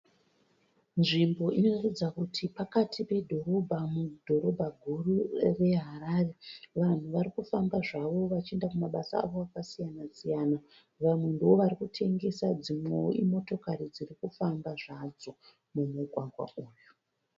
Nzvimbo inoratidza kuti pakati pedhorobha mudhorobha guru reHarare. Vanhu vari kufamba zvavo vachiinda kumabasa avo akasiyana siyana. Vamwe ndovari kutengesa dzimwewo imotokari dziri kufamba zvadzo mumugwagwa uyu.